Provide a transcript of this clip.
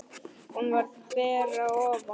Hún var ber að ofan.